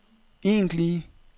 egentlige